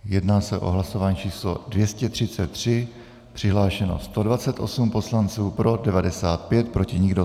Jedná se o hlasování číslo 233, přihlášeno 128 poslanců, pro 95, proti nikdo.